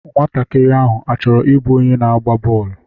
Nwatakịrị ahụ achọrọ ịbụ onye na-agba bọọlụ?